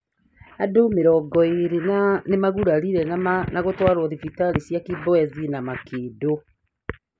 Andũ mĩrongo ĩrĩ nĩmagurarire na gũtwarwo thibitarĩ cia kibwezi na Makĩndũ